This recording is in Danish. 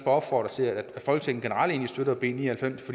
opfordre til at folketinget generelt støtter b ni og halvfems